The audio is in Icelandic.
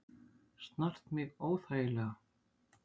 Snart mig óþægilega.